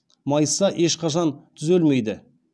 майысса ешқашан түзелмейді